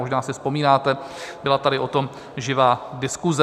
Možná si vzpomínáte, byla tady o tom živá diskuse.